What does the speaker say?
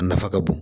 A nafa ka bon